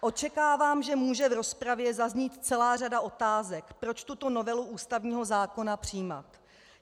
Očekávám, že může v rozpravě zaznít celá řada otázek, proč tuto novelu ústavního zákona přijímat.